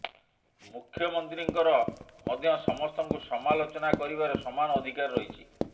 ମୁଖ୍ୟମନ୍ତ୍ରୀଙ୍କର ମଧ୍ୟ ସମସ୍ତଙ୍କୁ ସମାଲୋଚନା କରିବାର ସମାନ ଅଧିକାର ରହିଛି